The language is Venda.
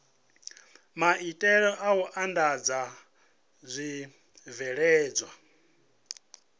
maitele a u andadza zwibveledzwa